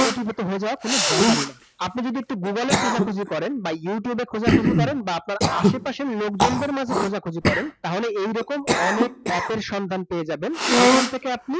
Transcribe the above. কোটিপতি হয়ে যাওয়া কোন ব্যাপারই না । আপনি যদি একটু google এ খোঁজাখুঁজি করেন বা youtube এ খোঁজাখুঁজি করেন বা আপনার আশেপাশের লোকজনদের মাঝে খোঁজাখুঁজি করেন তাহলে এইরকম অনেক app এর সন্ধান পেয়ে যাবেন যেখান থেকে আপনি